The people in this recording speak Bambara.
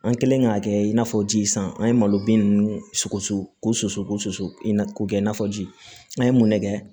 An kɛlen k'a kɛ i n'a fɔ ji san an ye malo bin ninnu susu k'o susu ko susu i n'a ko kɛ i n'a fɔ ji n'a ye mun ne kɛ